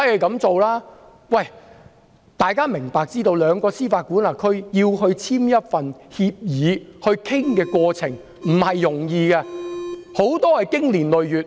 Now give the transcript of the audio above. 大家要知道，兩個司法管轄區要簽署一份協議，討論過程並不容易，很多情況下需要經年累月。